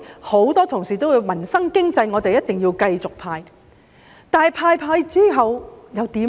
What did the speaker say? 很多同事說有助民生經濟的，我們一定要繼續派，但派完之後又怎樣呢？